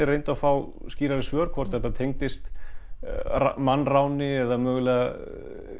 reyndu að fá skýrari svör hvort þetta tengdist mannráni eða mögulegri